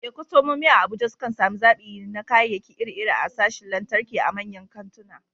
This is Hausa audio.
Eh, kwastomomi a Abuja sukan sami zaɓi na kayayyaki iri-iri a sashin lantarki a manyan kantuna.